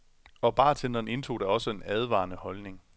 Og bartenderen indtog da også en advarende holdning.